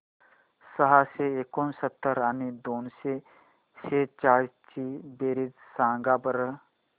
सहाशे एकोणसत्तर आणि दोनशे सेहचाळीस ची बेरीज सांगा बरं